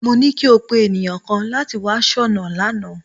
Mo ní kí o pé ènìyàn kan láti wá soná lánàá